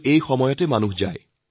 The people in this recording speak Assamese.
এই সময়তে সকলো ফুৰিবলৈ যায়